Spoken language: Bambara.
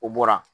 O bɔra